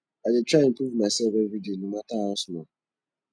i dey try improve mysef everyday no mata how small